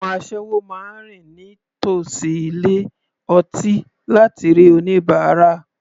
Àwọn asẹ́wọ máa rìn ní tòsí ilé ọtí láti rí oníbárà.